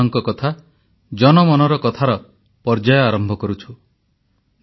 ଏକ ଦୀର୍ଘ ମଧ୍ୟାନ୍ତର ପରେ ପୁଣି ଥରେ ଆପଣମାନଙ୍କ ଗହଣରେ ଜନଙ୍କ କଥା ଜନଜନଙ୍କ କଥା ଜନମନର କଥାର ପର୍ଯ୍ୟାୟ ଆରମ୍ଭ କରୁଛୁ